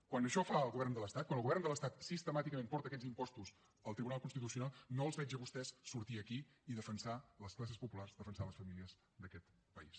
quan això ho fa el govern de l’estat quan el govern de l’estat sistemàticament porta aquests impostos al tribunal constitucional no els veig a vostès sortir aquí i defensar les classes populars defensar les famílies d’aquest país